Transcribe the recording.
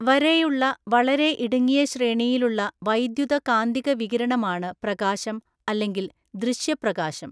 വരെയുള്ള വളരെ ഇടുങ്ങിയ ശ്രേണിയിലുള്ള വൈദ്യുതകാന്തിക വികിരണമാണ് പ്രകാശം, അല്ലെങ്കിൽ ദൃശ്യപ്രകാശം.